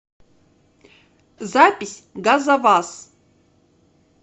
запись газоваз